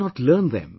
Why not learn them